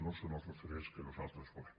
no són els referents que nosaltres volem